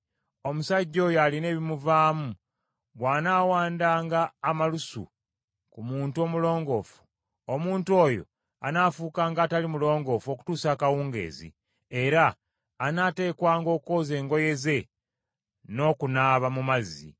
Omusajja oyo alina ebimuvaamu bw’anaawandanga amalusu ku muntu omulongoofu, omuntu oyo anaafuukanga atali mulongoofu okutuusa akawungeezi, era anaateekwanga okwoza engoye ze n’okunaaba mu mazzi.